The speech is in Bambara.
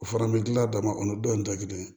O fana bɛ dilan damakɔnɔ dɔ in tɛ kelen